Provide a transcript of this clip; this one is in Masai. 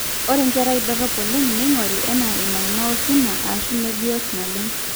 ore nkera dorropu oleng neing'ore enaa inaaima osina aashu meebiot naleng